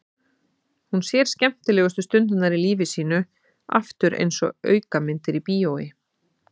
Hún sér skemmtilegustu stundirnar í lífi sínu aftur einsog aukamyndir í bíói.